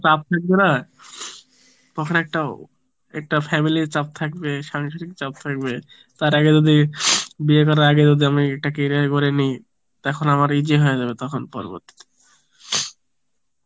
চাপ থাকবে না, তখন একটা একটা family র ছাপ থাকবে সাংসারিক চাপ থাকবে তার আগে যদি বিয়ে করার আগে যদি আমি একটা career গড়ে নিই, তখন আমার easy হয়ে যাবে তখন আমার পরবর্তীতে